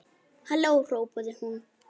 Halló hrópaði hún.